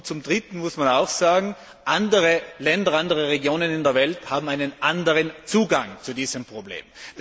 Zum Dritten muss man auch sagen, andere Länder und andere Regionen in der Welt haben einen anderen Zugang zu diesem Problem.